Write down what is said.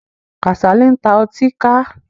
Kàsálí ń ta ọtíkà.